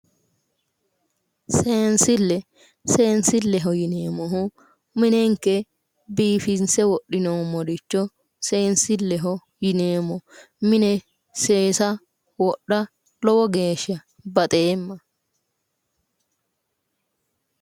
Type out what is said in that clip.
Seensille seensilleho yineemmohu minenke biifinse wodhinoommoricho seensilleho yineemmo mine seesa wodha lowo geeshsha baxeemma